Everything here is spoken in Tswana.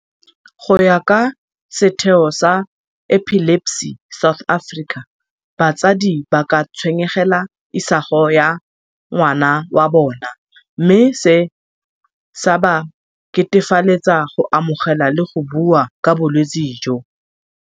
Go ya ka setheo sa Epilepsy South Africa, batsadi ba ka tshwenyegela isago ya ngwana wa bona mme se, sa ba ketefaletsa go amogela le go bua ka bolwetse jo.